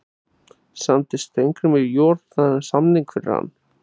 Samdi Steingrímur Joð þennan samning fyrir hann?